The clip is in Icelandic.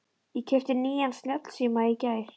Ég keypti nýjan snjallsíma í gær.